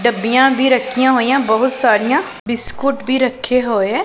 ਡੱਬੀਆਂ ਵੀ ਰੱਖੀਆਂ ਹੋਈਆਂ ਬਹੁਤ ਸਾਰੀਆਂ ਬਿਸਕੁਟ ਵੀ ਰੱਖੇ ਹੋਏ ਐ।